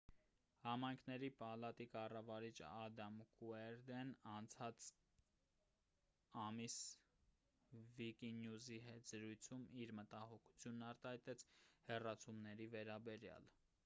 համայնքների պալատի կառավարիչ ադամ կուերդեն անցած ամիս վիկինյուզի հետ զրույցում իր մտահոգությունն արտահայտեց հեռացումների վերաբերյալ